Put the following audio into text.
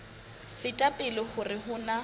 feta pele hore ho na